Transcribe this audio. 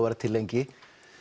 vera til lengi